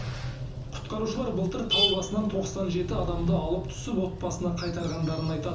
құтқарушылар былтыр тау басынан тоқсан жеті адамды алып түсіп отбасына қайтарғандарын айтады